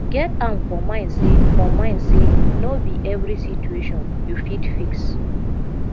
get am for mind sey for mind sey no be every situation you fit fix